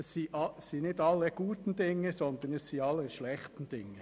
Es sind nicht aller guten Dinge drei, sondern aller schlechten Dinge.